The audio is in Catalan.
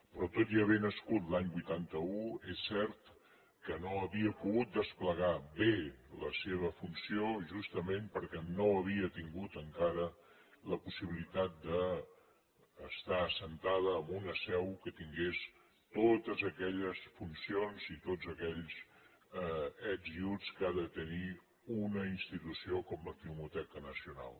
però tot i haver nascut l’any vuitanta un és cert que no havia pogut desplegar bé la seva funció justament perquè no havia tingut encara la possibilitat d’estar assentada en una seu que tingués totes aquelles funcions i tots aquells ets i uts que ha de tenir una institució com la filmoteca nacional